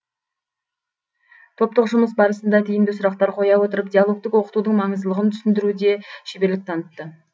топтық жұмыс барысында тиімді сұрақтар қоя отырып диалогтік оқытудың маңыздылығын түсіндіруде шеберлік танытты